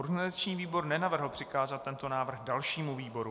Organizační výbor nenavrhl přikázat tento návrh dalšímu výboru.